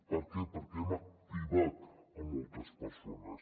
per què perquè hem activat moltes persones